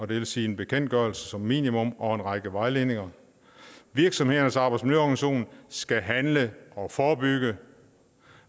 vil sige en bekendtgørelse som minimum og en række vejledninger virksomhedernes arbejdsmiljøorganisation skal handle og forebygge